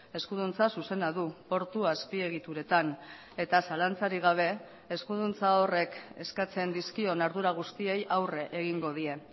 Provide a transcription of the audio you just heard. eskuduntza zuzena du portu azpiegituretan eta zalantzarik gabe eskuduntza horrek eskatzen dizkion ardura guztiei aurre egingo die